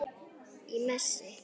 Í messi.